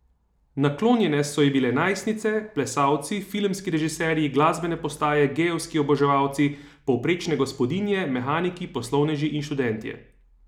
Naklonjene so ji bile najstnice, plesalci, filmski režiserji, glasbene postaje, gejevski oboževalci, povprečne gospodinje, mehaniki, poslovneži in študentje.